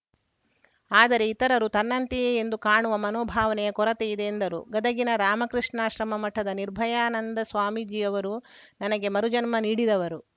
ಆದರೆ ಇತರರು ತನ್ನಂತೆಯೇ ಎಂದು ಕಾಣುವ ಮನೋಭಾವನೆಯ ಕೊರತೆ ಇದೆ ಎಂದರು ಗದಗಿನ ರಾಮಾಕೃಷ್ಣಾಶ್ರಮ ಮಠದ ನಿರ್ಭಯಾನಂದ ಸ್ವಾಮೀಜಿ ಅವರು ನನಗೆ ಮರುಜನ್ಮ ನೀಡಿದವರು